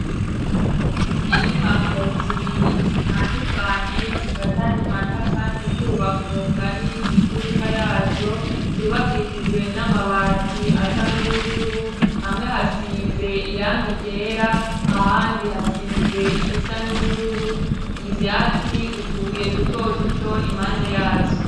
Inyubako zibiri zitandukanye zifatanywa na kandi kubako kari mw'imfuruka yazo zihubakishijwe n'amabati asa n'ubururu hamwe hasize irangi ryera ahandi hasize irisa n'ubururu ibyati utubuye duto duto impanda yazo.